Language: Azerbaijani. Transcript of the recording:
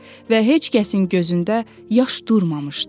Və heç kəsin gözündə yaş durmamışdı.